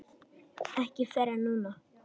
Ekki fyrr en núna.